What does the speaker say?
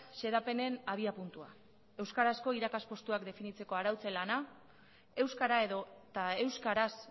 xedapenen abiapuntua euskarazko irakaste postuak definitzeko arautzen lana euskara edota euskaraz